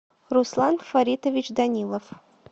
руслан фаритович данилов